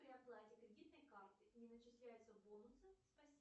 при оплате кредитной картой не начисляются бонусы спасибо